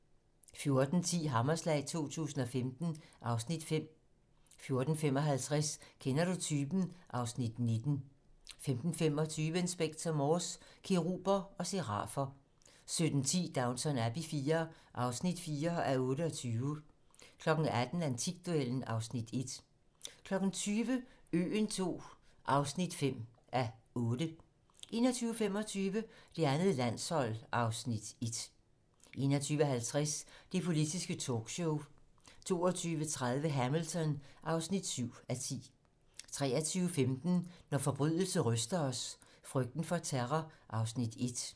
14:10: Hammerslag 2015 (Afs. 5) 14:55: Kender du typen? (Afs. 19) 15:25: Inspector Morse: Keruber og serafer 17:10: Downton Abbey IV (4:28) 18:00: Antikduellen (Afs. 1) 20:00: Øen II (5:8) 21:25: Det andet landshold (Afs. 1) 21:50: Det politiske talkshow 22:30: Hamilton (7:10) 23:15: Når forbrydelse ryster os: Frygten for terror (Afs. 1)